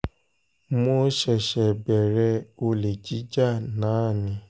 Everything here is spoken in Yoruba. mo ṣẹ̀ṣẹ̀ bẹ̀rẹ̀ olè jíjà náà ni